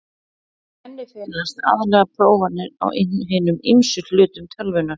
Í henni felast aðallega prófanir á hinum ýmsu hlutum tölvunnar.